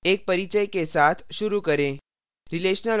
एक परिचय के साथ शुरू करें